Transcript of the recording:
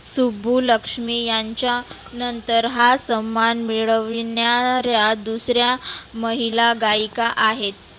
सुबुलक्ष्मी यांच्या नंतर हा सन्मान मिळवीणाऱ्या दुसऱ्या महिला गाईका आहेत.